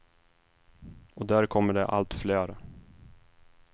Och där kommer det allt fler.